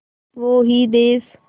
वो ही देस